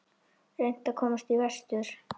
Reynt að komast vestur